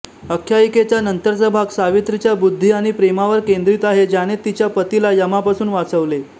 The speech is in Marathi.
आख्यायिकेचा नंतरचा भाग सावित्रीच्या बुद्धी आणि प्रेमावर केंद्रित आहे ज्याने तिच्या पतीला यमापासून वाचवले